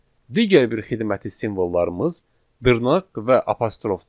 Digər bir xidməti simvollarımız dırnaq və apostrofdur.